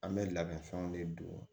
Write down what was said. An bɛ labɛn fɛnw de don